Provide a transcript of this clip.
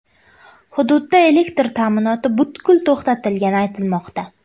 Hududda elektr ta’minoti butkul to‘xtatilgani aytilmoqda.